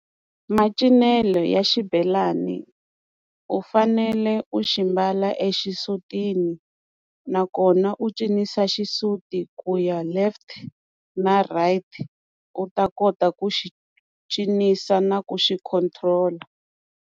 Macincelo ya xibelani u fanele u xi mbala exisutini nakona u cinisa xisuti ku ya left na right u ta kota ku xi cinisa na ku xi control-a.